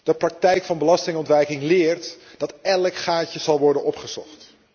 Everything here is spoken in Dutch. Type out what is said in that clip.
De praktijk van belastingontwijking leert dat elk gaatje zal worden opgezocht.